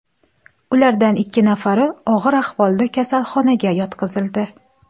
Ulardan ikki nafari og‘ir ahvolda kasalxonaga yotqizildi.